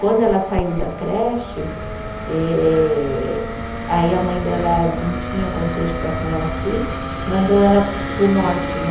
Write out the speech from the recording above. Quando ela saiu da creche ehh, aí a mãe dela não tinha condições de ficar com ela aqui, mandou ela para o norte, né?